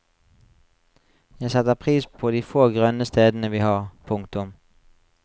Jeg setter pris på de få grønne stedene vi har. punktum